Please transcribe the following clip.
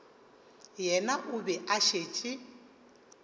yena o be a šetše